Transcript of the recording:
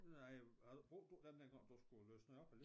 Nej jeg brugte du dem dengang du skulle læse noget op